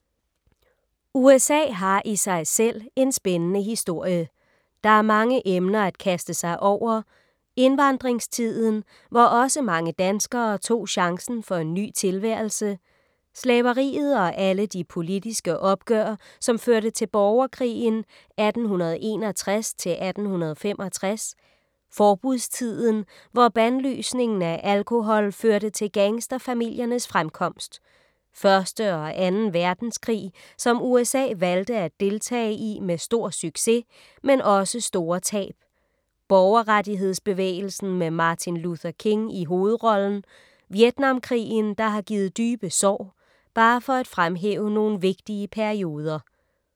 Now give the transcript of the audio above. USA har i sig selv en spændende historie. Der er mange emner at kaste sig over: Indvandringstiden, hvor også mange danskere tog chancen for en ny tilværelse. Slaveriet og alle de politiske opgør, som førte til borgerkrigen 1861-1865. Forbudstiden, hvor bandlysningen af alkohol førte til gangsterfamiliernes fremkomst. 1. og 2. verdenskrig som USA valgte at deltage i med stor succes, men også store tab. Borgerrettighedsbevægelsen med Martin Luther King i hovedrollen. Vietnamkrigen, der har givet dybe sår. Bare for at fremhæve nogle vigtige perioder.